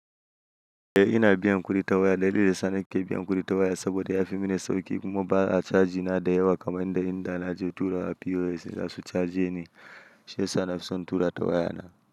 Eh ina biyan kuɗin waya, dalilin sa ni ke biyan kuɗin waya saboda yafi mini sauƙi kuma ba a caji na da yawa kamar inda in da na je tura POS, za su cajeni shiyasa nafison tura ta waya na.